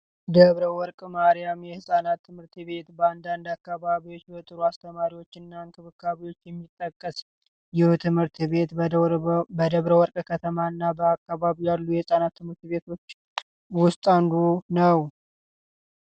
ደብረ ወርቅ ማሪያም የህፃናት ትምህርት ቤት በአንዳንድ አካባቢዎች በጥሩ እሰተማሪዎች እና እንክብካቤዎች የሚጠቀስ ይህ ትምህርት ቤት በደብረ ወርቅ ከተማ እና በአካባቢው ካሉ የህፃናት ትምህርት ቤቶች ውስጥ አንዱ ነው።